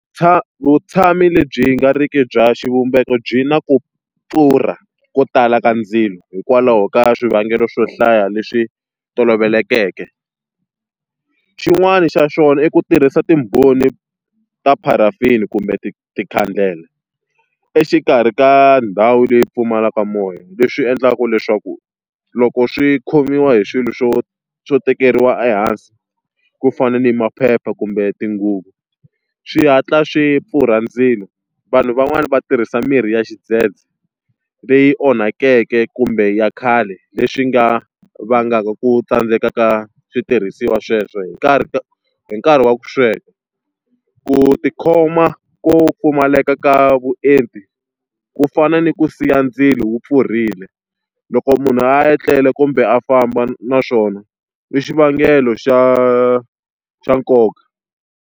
Vutshamo lebyi nga riki bya xivumbeko byi na ku pfurha ko tala ka ndzilo hikwalaho ka swivangelo swo hlaya leswi tolovelekeke. Xin'wani xa swona i ku tirhisa timbhoni ta paraffin kumbe makhandela exikarhi ka ndhawu leyi pfumalaka moya, leswi endlaku leswaku loko swi khomiwa hi swilo swo swo tekeriwa ehansi ku fana ni maphepha kumbe tinguvu, swi hatla swi pfurha ndzilo. Vanhu van'wani va tirhisa mirhi ya xidzedze leyi onhakeke kumbe ya khale, leswi nga vangaka ku tsandzeka ka switirhisiwa sweswo hi karhi hi nkarhi wa ku sweka. Ku tikhoma ko pfumaleka ka vuenti, ku fana ni ku siya ndzilo wu pfurile. Loko munhu a ya tlela kumbe a famba naswona i xivangelo xa xa nkoka.